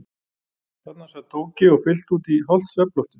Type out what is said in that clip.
Þarna sat Tóti og fyllti út í hálft svefnloftið.